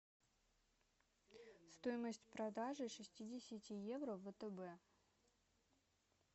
стоимость продажи шестидесяти евро в втб